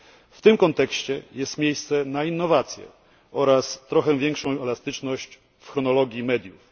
W tym kontekście jest miejsce na innowacje oraz trochę większą elastyczność w chronologii mediów.